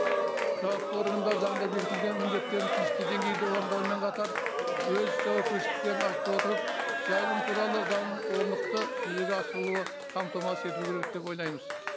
жауапты органдар заңда бекітілген міндеттерін тиісті деңгейде орындауымен қатар өз жауапкершіліктерін артып отырып жайылым туралы заңының орнықты жүзеге асырылуы қамтамасыз етілу керек деп ойлаймыз